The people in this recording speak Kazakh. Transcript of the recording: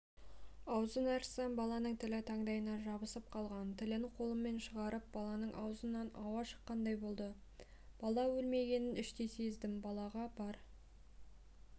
аузын ашсам баланың тілі таңдайына жабысып қалған тілін қолыммен шығарып баланың аузынан ауа шыққандай болды бала өлмегенін іштей сездім балаға бар